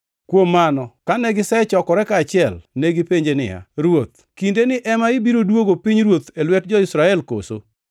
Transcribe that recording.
Kuom mano, kane gisechokore kaachiel, negipenje niya, “Ruoth, kindeni ema ibiro duogo pinyruoth e lwet jo-Israel koso?”